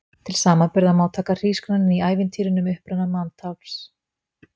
Til samanburðar má taka hrísgrjónin í ævintýrinu um uppruna manntafls.